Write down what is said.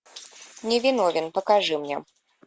невиновен покажи мне